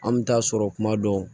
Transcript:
An bɛ taa sɔrɔ kuma dɔw